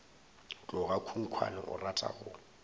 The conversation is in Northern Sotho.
tloga khunkhwane o rata go